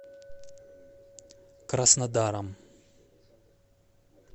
краснодаром